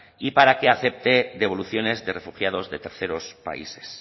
y para que acepte devoluciones de refugiados de terceros países